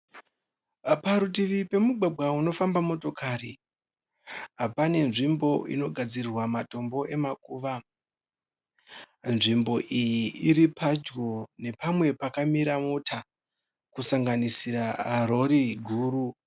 Parutivi pemugwagwa unofamba motikari pane nzvimbo inogadzirirwa matombo emakuva nzvimbo iyi iri padyo nepamwe pakamira motikari kusanganisira rori guru.